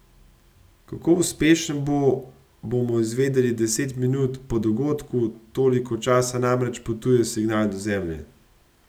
Kako uspešen bo, bomo izvedeli deset minut po dogodku, toliko časa namreč potuje signal do Zemlje.